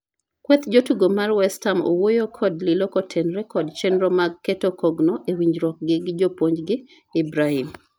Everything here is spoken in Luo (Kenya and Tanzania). kweth jotugo mar west ham owoyo kod Lilo kotenore kod chenro mag keto kogno e winjruok gi japuonj gi Ibrahim